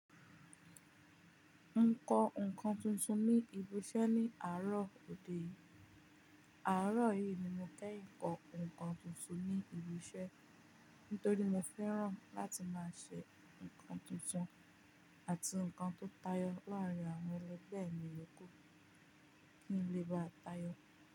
N kọ ǹkan tuntun ní ibi iṣẹ́ ní àárọ̀ òde yìí. Àárọ̀ yìí ni mo kẹ́ n kọ ǹkan tuntun ní ibi iṣẹ́, nítorí mo fẹ́ràn láti máa ṣe ǹkan tuntun àti ǹkan tó tayọ láàárín àwọn ẹlẹgbẹ́ mi oko nílé bá tayọ.